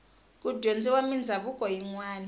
ku dyondziwa mindhavuko yinwani